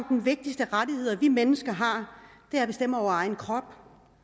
den vigtigste rettighed vi mennesker har er at bestemme over egen krop